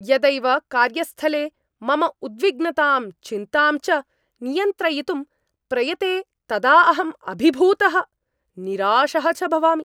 यदैव कार्यस्थले मम उद्विग्नतां, चिन्तां च नियन्त्रयितुं प्रयते तदा अहं अभिभूतः, निराशः च भवामि।